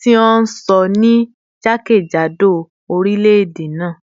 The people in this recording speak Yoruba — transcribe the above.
ti a sọ ni jakejado orilẹ-ede naa